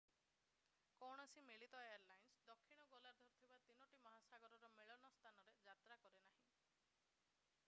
କୌଣସି ମିଳିତ ଏୟାରଲାଇନ୍ସ ଦକ୍ଷିଣ ଗୋଲାର୍ଦ୍ଧରେ ଥିବା ତିନୋଟି ମହାସାଗରର ମିଳନ ସ୍ଥଳରେ ଯାତ୍ରା କରେନାହିଁ ଏବଂ skyteam କୌଣସି ମିଳନ ସ୍ଥଳରେ ଯାତ୍ରା କରେ ନାହିଁ i